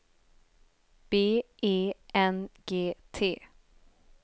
B E N G T